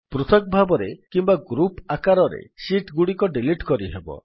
ପୃଥକ ଭାବରେ କିମ୍ବା ଗ୍ରୁପ୍ ଆକାରରେ ଶୀଟ୍ ଗୁଡିକୁ ଡିଲିଟ କରିହେବ